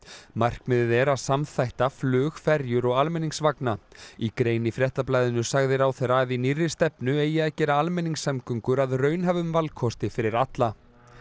markmiðið er að samþætta flug ferjur og almenningsvagna í grein í Fréttablaðinu sagði ráðherra að í nýrri stefnu eigi að gera almenningssamgöngur að raunhæfum valkosti fyrir alla